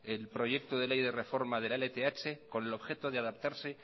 el proyecto de ley de reforma de la lth con el objeto de adaptarse